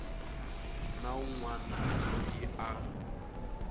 na wun wana loyi a